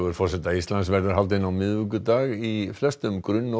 forseta Íslands verður haldinn á miðvikudag í flestum grunn og